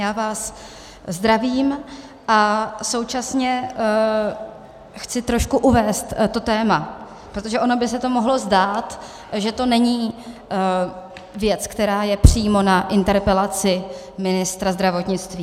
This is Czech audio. Já vás zdravím a současně chci trošku uvést to téma, protože ono by se to mohlo zdát, že to není věc, která je přímo na interpelaci ministra zdravotnictví.